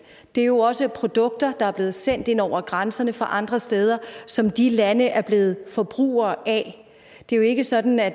det er jo også produkter der er blevet sendt ind over grænserne fra andre steder som de lande er blevet forbrugere af det er jo ikke sådan at